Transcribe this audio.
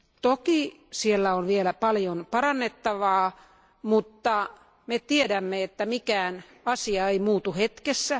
Toki siellä on vielä paljon parannettavaa, mutta me tiedämme, että mikään asia ei muutu hetkessä.